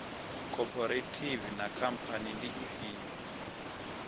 khophorethivi na khamphani ndi ifhio